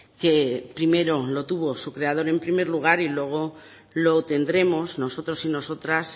que primero lo tuvo su creador en primer lugar y luego lo tendremos nosotros y nosotras